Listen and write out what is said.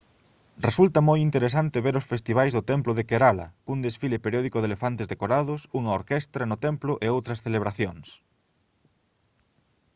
resulta moi interesante ver os festivais do templo de kerala cun desfile periódico de elefantes decorados unha orquestra no templo e outras celebracións